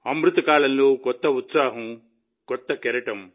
అమృతకాలంలో కొత్త ఉత్సాహం కొత్త కెరటం